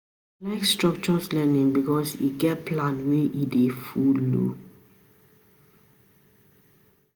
I like structures learning because e get plan wey e dey folo.